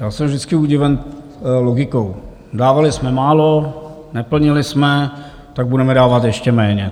Já jsem vždycky udiven logikou: dávali jsme málo, neplnili jsme, tak budeme dávat ještě méně.